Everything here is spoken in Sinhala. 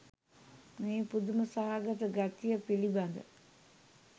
මේ පුදුම සහගත ගතිය පිළිබඳ